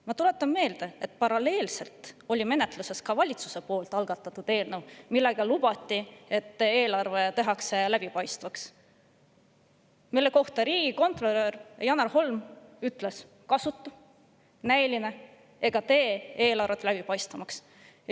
Ma tuletan meelde, et meil oli paralleelselt menetluses ka valitsuse algatatud eelnõu, millega lubati eelarve läbipaistvaks teha, aga mille kohta riigikontrolör Janar Holm ütles: kasutu, näiline ega tee eelarvet läbipaistvamaks.